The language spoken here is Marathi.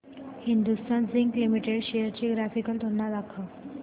हिंदुस्थान झिंक लिमिटेड शेअर्स ची ग्राफिकल तुलना दाखव